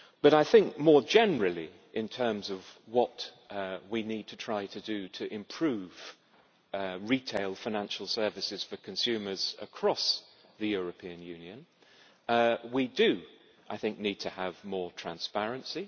I think, more generally, in terms of what we need to try to do to improve retail financial services for consumers across the European Union, we do need to have more transparency.